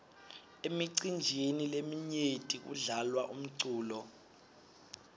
emicinjini leminyenti kudlalwa umculo